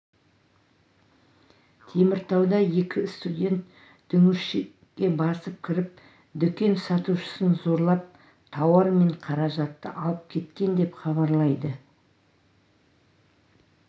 теміртауда екі студент дүңгіршекке басып кіріп дүкен сатушысын зорлап тауар мен қаражатты алып кеткен деп хабарлайды